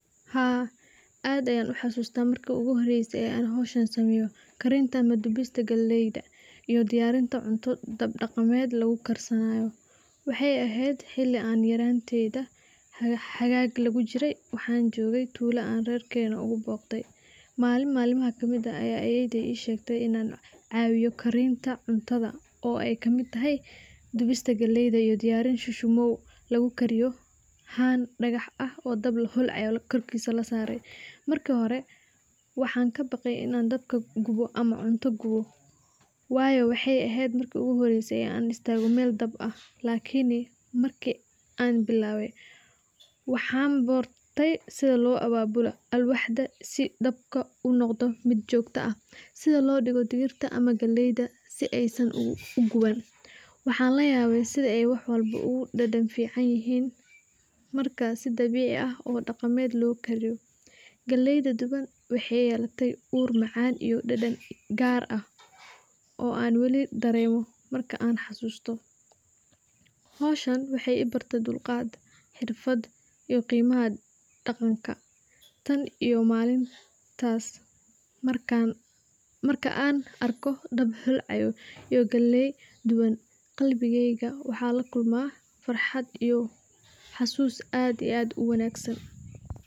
Haa aad ayan uxasusta marki uguhoreyse oo an hoshan sameyo, karinta ama dubinta galeyda iyo diyarinta cunto daqamed lagu karsanayo, waxay ehed xili aan yaranteyda xagag lagujire, waxan jogey tulo aan rerkena ogu boqde, malin malma kamid ah aya ayey deyda ishegtey inan cawiyo karinta cuntada aay kamid tahay dubista galeyda iyo diyarin shushumow lagu kariyo han dagax ah oo dab holcayo korkisa lasaro marki hore waxan kabaqay inan dabka gubo ama cuntada wayo waxay ehed marki igu horeyse aan istago mel dab ah lakini marki aan bilabey waxan bartey sidii loo ababulo alwaxda sii dabka uu unoqdo mid jogto ah, sidhaa loo digigo digirta ama galeyda aay san uguban waxan layabe sii aay waxwalbo aay udadan ficanyihin marka sii dabici ah oo daqamed loo kariyo, galeyda duban waxay lyelatay uur macan iyo deden gar ah oo an weli daremo marka aan xasusto, howshan waxay ibarte dulqad, xirfad iyo qimaha daqanka tan iyo malintas markan arko dab holcayo iyo galey duwan galbigeyga waxa farxad iyo xasus aad iyo aad uwanagsan.